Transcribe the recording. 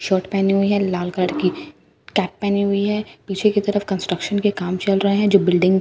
shirt पहने हुई है लाल कलर कि कैप पहनी हुई है पीछे की तरफ कंस्ट्रक्शन के काम चल रहा है जो बिल्डिंग--